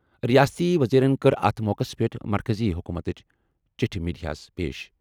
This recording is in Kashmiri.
رِیٲستی ؤزیٖرن کٔر اَتھ موقعَس پٮ۪ٹھ مرکٔزی حکوٗمتٕچ چِٹھہِ میڈیاہَس پیش۔